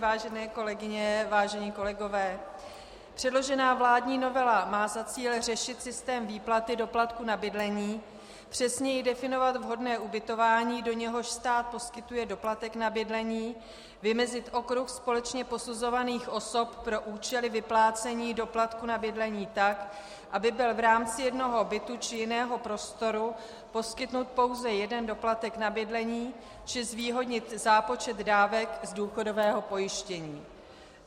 Vážené kolegyně, vážení kolegové, předložená vládní novela má za cíl řešit systém výplaty doplatku na bydlení, přesněji definovat vhodné ubytování, do něhož stát poskytuje doplatek na bydlení, vymezit okruh společně posuzovaných osob pro účely vyplácení doplatku na bydlení tak, aby byl v rámci jednoho bytu či jiného prostoru poskytnut pouze jeden doplatek na bydlení, či zvýhodnit zápočet dávek z důchodového pojištění.